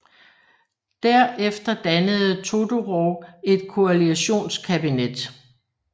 Der efter dannede Todorov et koalitionskabinet